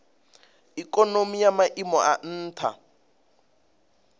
ikonomi ya maiimo a nha